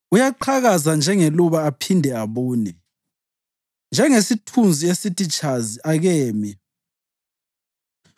Uyaqhakaza njengeluba aphinde abune; njengesithunzi esithi tshazi, akemi.